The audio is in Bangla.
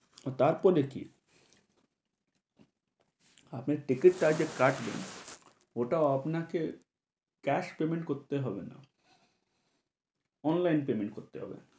তারপরে কী? আপনার ticket টা যে কাটলেন ওটাও আপনাকে cash payment করতে হবেনা, online payment করতে হবে।